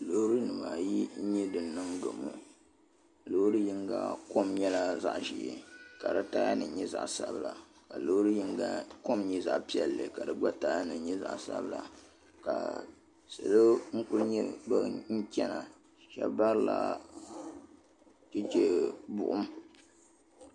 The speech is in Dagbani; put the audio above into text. loorinima ayi n-nyɛ din niŋ gabo loori yiŋga kom nyɛla zaɣ' ʒee ka di taayanima nyɛ zaɣ' sabila ka loori yiŋga kom nyɛ zaɣ' piɛlli ka di gba taayanima nyɛ zaɣ' sabila ka salo n-kuli nyɛ ban chana shɛba barila cheche buɣum